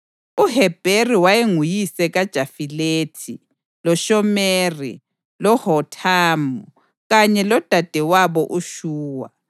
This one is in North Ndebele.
UHebheri wayenguyise kaJafilethi, loShomeri loHothamu kanye lodadewabo uShuwa.